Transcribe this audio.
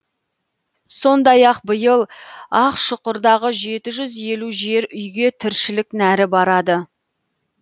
сондай ақ биыл ақшұқырдағы жеті жүз елу жер үйге тіршілік нәрі барады